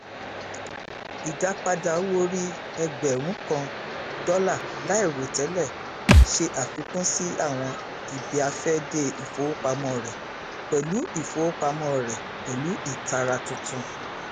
ìdápadà owóòrí ẹgbẹrún kan dólà láìròtẹlẹ ṣe àfikún sí àwọn ibiafẹde ifowopamọ rẹ pẹlú ifowopamọ rẹ pẹlú ìtara tuntun